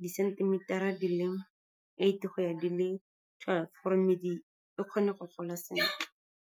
di-centimeter-a di le eight go ya di le twelve, gore medi e kgone go gola sentle.